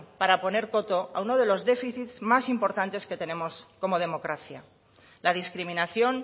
para poner coto a uno de los déficits más importantes que tenemos como democracia la discriminación